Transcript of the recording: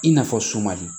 I n'a fɔ sumani